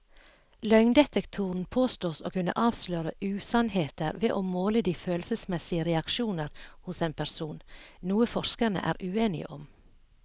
Løgndetektoren påstås å kunne avsløre usannheter ved å måle de følelsesmessige reaksjoner hos en person, noe forskerne er uenige om.